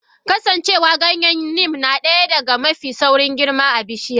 Kasancewa Ganyen neem nadaya daga mafi saurin girma bishiya?